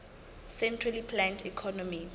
centrally planned economy